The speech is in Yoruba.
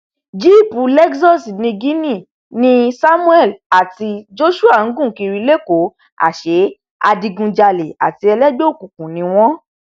jíìpù lexus niginni ni samuel àti joshua ń gùn kiri lẹkọọ àṣẹ adigunjalè àti ẹlẹgbẹ òkùnkùn ni wọn